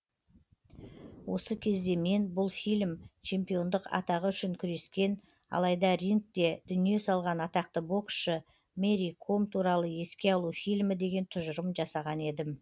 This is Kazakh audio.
осы кезде мен бұл фильм чемпиондық атағы үшін күрескен алайда рингте дүние салған атақты боксшы мэри ком туралы еске алу фильмі деген тұжырым жасаған едім